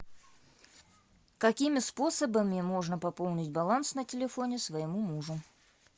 какими способами можно пополнить баланс на телефоне своему мужу